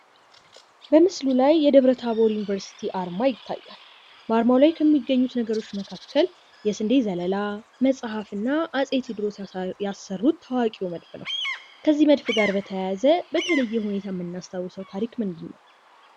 በምስሉ ላይ የደብረታቦር ዩንቨርስቲ አርማ ይታያል። በአርማው ላይ ከሚገኙት ነገሮች መካከል የስንዴ ዘለላ፣ መጽሃፍ እና አጼ ቴዎድሮስ ያሰሩት ታዋቂው መድፍ ነው። ከዚህ መድፍ ጋር በተያያዘ በተለየ የምናስታዉሰዉ ነገር ምንድነው?